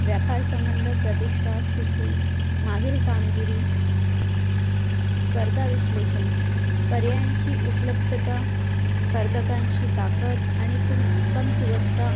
व्यापार संबंध प्रतिष्टी स्तिथी मागील कामगिरी स्पर्धा विशलेषण पर्यायाची उपलब्धता स्पर्धकाची ताकत आणि कमकुवक्ता